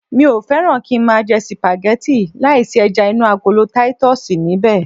Mi ò fẹ́ràn kí ń máa jẹ sìpàgẹ́tì láì sí ẹja inú agolo titus níbẹ̀